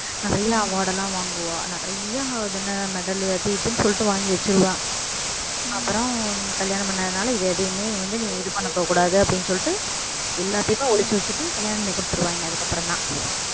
நிறைய award லாம் வாங்குவா நிறைய அதென்ன medal அது இதுன்னு சொல்லிட்டு வாங்கி வச்சிருவா அப்புறம் கல்யாணம் பண்ணாதனால இதை எதையுமே வந்து நீ இது பண்ணிக்ககூடாது அப்படின்னு சொல்லிட்டு எல்லாத்தையுமே ஒளிச்சு வச்சுட்டு கல்யாணம் பண்ணி கொடுத்துடுவாங்க அதுக்கப்புறம்தான்